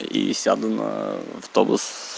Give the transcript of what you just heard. и сяду на автобус